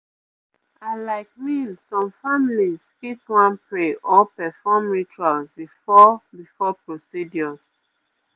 i like mean some families fit wan pray or perform rituals before before procedures